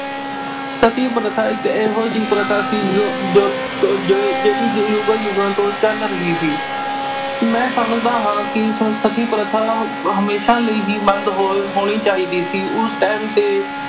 ਸਤੀ ਪ੍ਰਥਾ ਇੱਕ ਇਹੋ ਜਿਹੀ ਪ੍ਰਥਾ ਸੀ, ਜੋ ਅਹ ਜੋ ਅਹ ਅਹ ਜਿਹੜੀ ਯੁਗਾਂ ਯੁਗਾਂ ਤੋਂ ਚੱਲ ਰਹੀ ਸੀ। ਮੈਂ ਸਮਝਦਾ ਹਾਂ ਕਿ ਸਤੀ ਪ੍ਰਥਾ ਹਮੇਸ਼ਾ ਲਈ ਹੀ ਬੰਦ ਹੋ ਅਹ ਹੋਣੀ ਚਾਹੀਦੀ ਸੀ। ਉਸ time ਤੇ